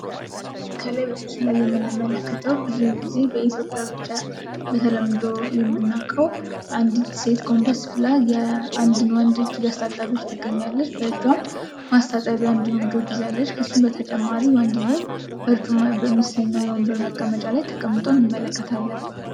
ከላይ በምስሉ ላይ የምንመለከተው ብዙውን ጊዜ በኢትዮጵያ በተለምዶ የምናውቀው አንዲት ሴት ጎንበስ ብላ የአንድን ወንድ እጅ እያስታጠበች ትገኛለች። በእጇም ማስጣጠቢያ እንዲሁም ጆግ ይዛለች፤ ከሱም በተጨማሪ ወንድየው በርጩማ በሚሰኘው የወንበር መቀመጫ ላይ ተቀምጦ እንመለከታለን።